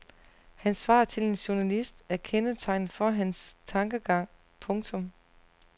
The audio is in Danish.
Hans svar til en journalist er kendetegnende for hans tankegang. punktum